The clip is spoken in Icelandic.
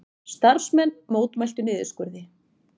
Starfsmenn mótmæla niðurskurði